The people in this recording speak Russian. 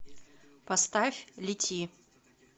поставь лети